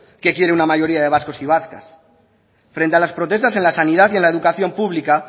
que quiere una mayoría de vascos y vascas frente a las protestas en la sanidad y en la educación pública